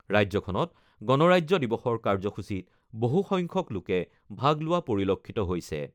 ৰাজ্যখনত গণৰাজ্য দিৱসৰ কাৰ্যসূচীত বহুসংখ্যক লোকে ভাগ লোৱা পৰিলক্ষিত হৈছে।